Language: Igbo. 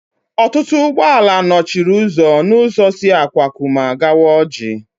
Ọtụtụ ụgbọala nọchiri ụzọ n'ụzọ si Akwakụma gawa Ọjị